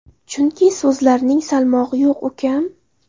Chunki so‘zlaringning salmog‘i yo‘q ukam.